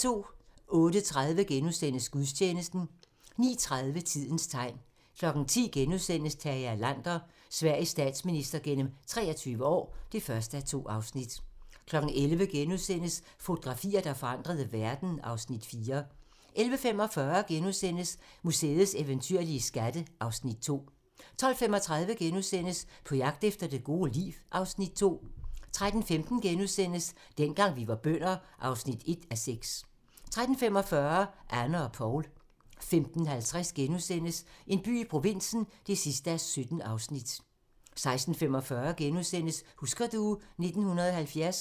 08:30: Gudstjeneste * 09:30: Tidens tegn 10:00: Tage Erlander - Sveriges statsminister gennem 23 år (1:2)* 11:00: Fotografier, der forandrede verden (Afs. 4)* 11:45: Museets eventyrlige skatte (Afs. 2)* 12:35: På jagt efter det gode liv (Afs. 2)* 13:15: Dengang vi var bønder (1:6)* 13:45: Anne og Poul 15:50: En by i provinsen (17:17)* 16:45: Husker du ... 1970 *